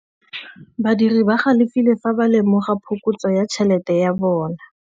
Badiri ba galefile fa ba lemoga phokotsô ya tšhelête ya bone.